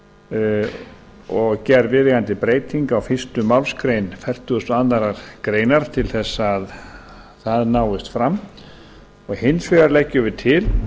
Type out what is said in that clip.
sjúkratrygginguna og gerð viðeigandi breyting á fyrstu málsgrein fertugustu og aðra grein til þess að það náist fram og hins vegar leggjum við til